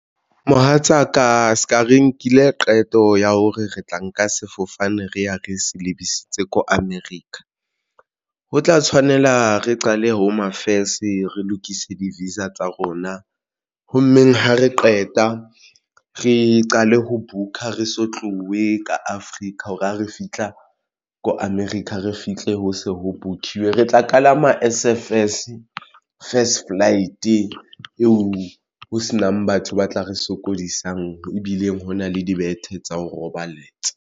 Mohatsaka se ka re nkile qeto ya hore re tla nka sefofane re ya re se lebisitse ko America ho tla tshwanela re qale Home Affairs re lokise di-visa tsa rona ho mmeng ha re qeta re qale ho book-a re so tlowe ka Africa hore ha re fihla ko America re fihle ho se ho bukiwe, re tla kalama as a first flight eo ho senang batho ba tla re sokodisang ebileng hona le dibethe tsa ho roballetsa.